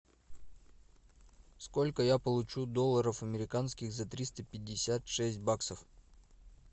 сколько я получу долларов американских за триста пятьдесят шесть баксов